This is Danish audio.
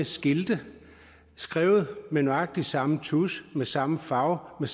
skilte skrevet med nøjagtig samme tusch med samme farve og